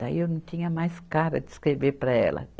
Daí eu não tinha mais cara de escrever para ela.